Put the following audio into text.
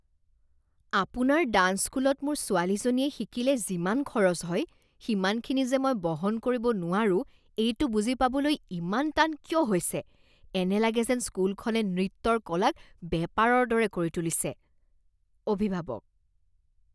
আপোনাৰ ডাঞ্চ স্কুলত মোৰ ছোৱালীজনীয়ে শিকিলে যিমান খৰচ হয় সিমানখিনি যে মই বহন কৰিব নোৱাৰো এইটো বুজি পাবলৈ ইমান টান কিয় হৈছে? এনে লাগে যেন স্কুলখনে নৃত্যৰ কলাক বেপাৰৰ দৰে কৰি তুলিছে। অভিভাৱক